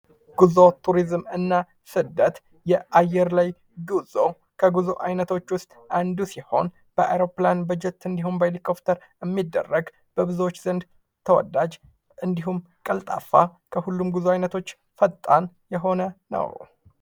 ጉዞ ቱሪዝም እና ስደት የአየር ላይ ጉዞ ከጉዞ አይነቶች ውስጥ አንዱ ሲሆን በአይሮፕላን፣ በጀት እንዲሁም ሂሊኮፍተር የሚደረግ በብዙዎች ዘንድ ተወዳጅ እንዲሁም ቀልጣፋ ከሁሉም ጉዞ አይነቶች ፈጣን የሆነ ነው ።